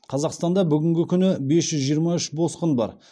қазақстанда бүгінгі күні бес жүз жиырма үш босқын бар